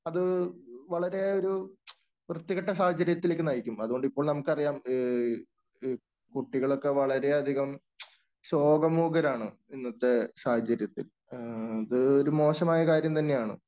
അത് വളരെ ഒരു വൃത്തികെട്ട സാഹചര്യത്തിലേക്ക് നയിക്കും. അതുകൊണ്ടു ഇപ്പോൾ നമുക്ക് അറിയാം ഈ ഈ കുട്ടികളൊക്കെ വളരെയധികം ശോകമൂകരാണ് ഇന്നത്തെ സാഹചര്യത്തിൽ. അത് ഒരു മോശമായ കാര്യം തന്നെയാണ്.